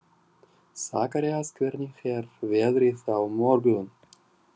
Sakarías, hvernig er veðrið á morgun?